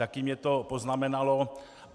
Taky mě to poznamenalo.